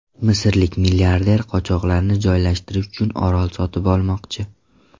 Misrlik milliarder qochoqlarni joylashtirish uchun orol sotib olmoqchi.